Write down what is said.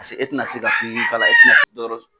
Paseke e tɛna se ka fini